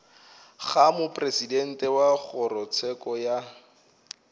ga mopresidente wa kgorotsheko ya